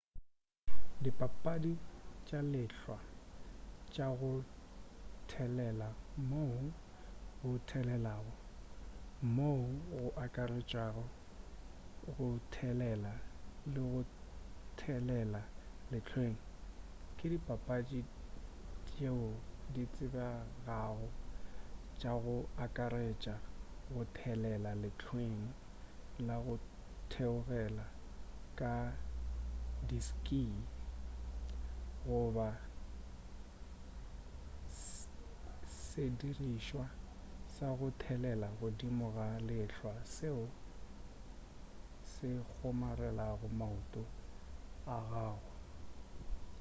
dipapadi tša lehlwa tša go thelela moo go theogelago moo go akaretšago go thelela le go thelela lehlweng ke dipapadi tšeo ditsebegago tša go akaretša go thelela lehlweng la go theogela ka di-ski goba sedirišwa sa go thelela godimo ga lehlwa seo se kgomarelago maoto a gago